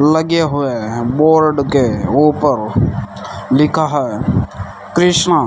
लगे हुएं है बोर्ड के ऊपर लिखा है कृष्णा